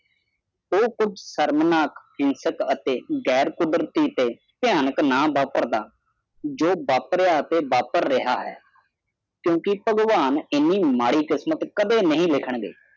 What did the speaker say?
ਉਹ ਕੁਛ ਸ਼ਰਮਨਾਕ ਪਿਸਕ ਅਤੇ ਗੈਰ ਕੁਦਰਤੀ ਤੇ ਭਿਆਨਕ ਨਾ ਵਪਰਦਾ ਜੋ ਵਾਪਰਿਯਾ ਅਤੇ ਵਾਪਰ ਰਿਹਾ ਹੈ ਕਿਉਂਕਿ ਬਾਗਵਾਂਨ ਏਨੀ ਮਾੜੀ ਕਿਸਮਤ ਕਦੇ ਨਹੀਂ ਲਿਖਾਂਨਗੇ